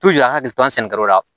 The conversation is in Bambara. an hakili t'an sɛnɛ yɔrɔ wɛrɛ la